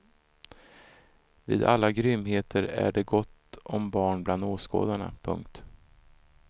Vid alla grymheter är det gott om barn bland åskådarna. punkt